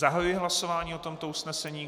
Zahajuji hlasování o tomto usnesení.